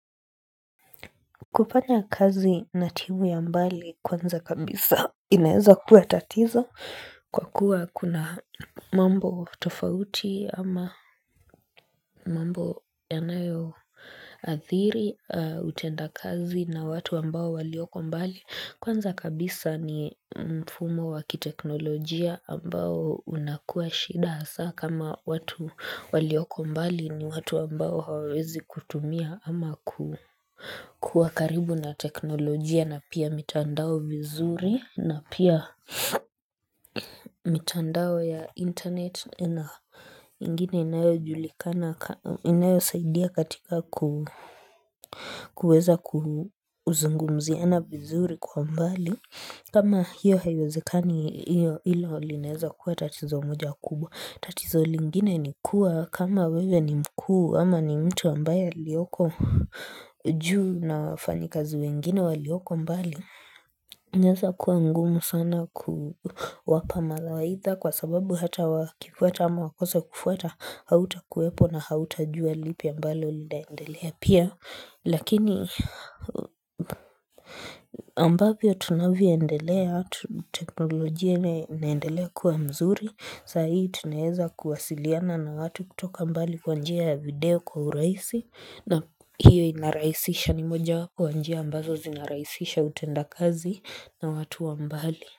Kupanya kazi na timu ya mbali kwanza kabisa inaeza kuwa tatizo kwa kuwa kuna mambo tofauti ama mambo yanayoadhiri, utenda kazi na watu ambao walioko mbali. Kwanza kabisa ni mfumo wakiteknolojia ambao unakuwa shida hasaa kama watu walioko mbali ni watu ambao hawezi kutumia ama kuwa karibu na teknolojia. Na pia mitandao vizuri na pia mitandao ya internet na ingine inayo julikana, inayo saidia katika kuweza kuzungumziana vizuri kwa mbali. Kama hiyo haiwezekani hiyo hilo linaweza kuwa tatizo moja kubwa. Tatizo lingine ni kuwa kama wewe ni mkuu ama ni mtu ambaye alioko juu na wafanyikazi wengine walioko mbali. Neza kuwa ngumu sana kuwapa mala waitha kwa sababu hata wakifuata ama wakose kufuata hautakuwepo na hautajua lipi ambalo linaendelea pia lakini ambavyo tunavyoendelea tu teknolojia inaendelea kuwa mzuri saa hii tunaeza kuwasiliana na watu kutoka mbali kwa njia ya video kwa urahisi na hiyo inarahisisha ni moja wapo wa njia ambazo zinaraisisha utenda kazi na watu wa mbali.